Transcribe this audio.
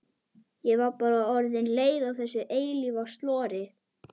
Ég var bara orðin leið á þessu eilífa slori.